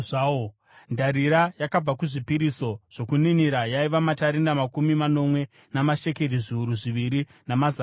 Ndarira yakabva kuzvipiriso zvokuninira yaiva matarenda makumi manomwe namashekeri zviuru zviviri namazana mana .